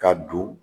Ka don